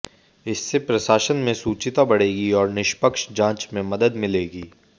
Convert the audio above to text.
इससे प्रशासन में शुचिता बढेगी और निष्पक्ष जांच में मदद मिलेगी